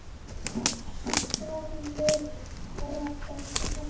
Sofðu rótt, elsku pabbi minn.